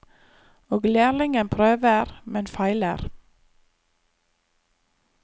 Og lærlingen prøver, men feiler.